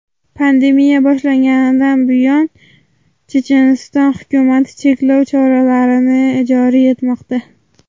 Pandemiya boshlanganidan buyon Checheniston hukumati cheklov choralarini joriy etmoqda.